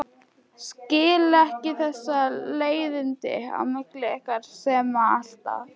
Skil ekki þessi leiðindi á milli ykkar Sæma alltaf.